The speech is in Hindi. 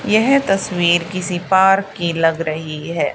येह तस्वीर किसी पार्क की लग रही है।